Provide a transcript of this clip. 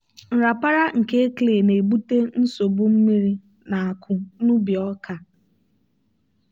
nrapara nke clay na-ebute nsogbu mmiri na-akụ n'ubi ọka.